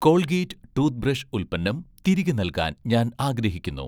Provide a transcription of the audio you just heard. Colgate' toothbrush ഉൽപ്പന്നം തിരികെ നൽകാൻ ഞാൻ ആഗ്രഹിക്കുന്നു